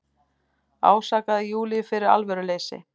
Ásakaði Júlíu fyrir alvöruleysi.